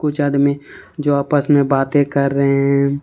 चाद में जो आपस में बातें कर रहे हैं।